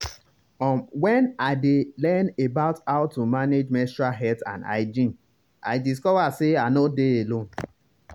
um when i dey learn about how to manage menstrual health and hygiene i discover say i nor dey alone.